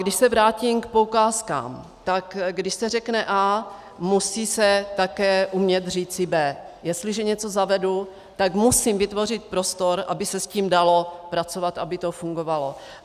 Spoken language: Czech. Když se vrátím k poukázkám, tak když se řekne A, musí se také umět říci B. Jestliže něco zavedu, tak musím vytvořit prostor, aby se s tím dalo pracovat, aby to fungovalo.